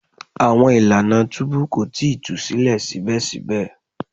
Awọn ilana tubu ko tii tu silẹ sibẹsibẹ